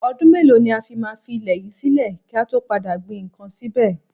Ọdún mélòó ni a fi máa fi ilẹ̀ yìí sílè kí a tó padà gbin ǹkan síbẹ̀?